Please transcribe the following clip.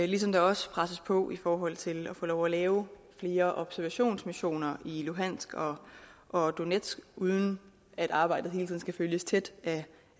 ligesom der også presses på i forhold til at få lov at lave flere observationsmissioner i lugansk og og donetsk uden at arbejdet hele tiden skal følges tæt af